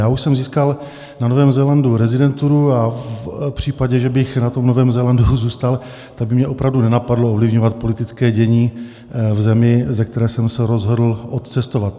Já už jsem získal na Novém Zélandu rezidenturu a v případě, že bych na tom Novém Zélandu zůstal, tak by mě opravdu nenapadlo ovlivňovat politické dění v zemi, ze které jsem se rozhodl odcestovat.